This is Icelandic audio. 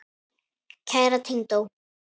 Kæra tengdó.